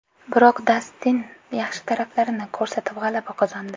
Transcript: Biroq Dastin yaxshi taraflarini ko‘rsatib g‘alaba qozondi.